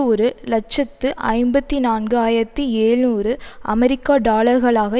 ஒரு இலட்சத்து ஐம்பத்தி நான்காயிரத்தி எழுநூறு அமெரிக்க டாலர்களாக